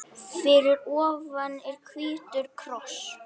Fyrir ofan er hvítur kross.